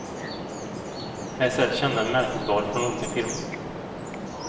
Här säljs kända märkesvaror från olika firmor.